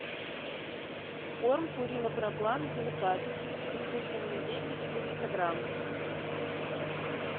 корм пурина проплан деликат со вкусом индейки четыреста грамм